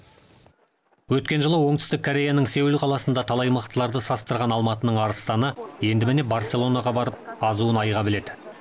өткен жылы оңтүстік кореяның сеул қаласында талай мықтыларды састырған алматының арыстаны енді міне барселонаға барып азуын айға біледі